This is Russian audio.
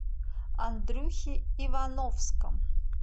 андрюхе ивановском